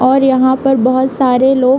और यहाँ पे बोहोत सारे लो --